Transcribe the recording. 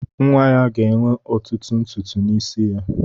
Nwa ya ga-enwe ọtụtụ ntutu isi n'isi ya.